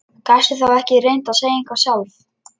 Gastu þá ekki reynt að segja eitthvað sjálf?